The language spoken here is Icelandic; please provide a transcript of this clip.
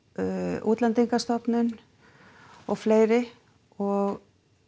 Útlendingastofnun og fleiri og